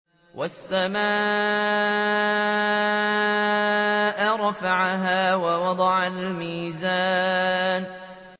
وَالسَّمَاءَ رَفَعَهَا وَوَضَعَ الْمِيزَانَ